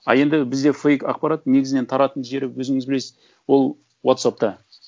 а енді бізде фейк ақпарат негізінен тарайтын жері өзіңіз білесіз ол уотсаппта